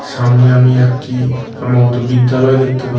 সামনে আমি একটি সম্ভবত বিদ্যালয় দেখতে পাচ্ছি।